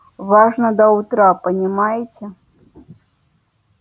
важно до утра понимаете